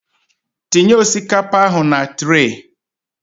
Tinye osikapa ahụ na trey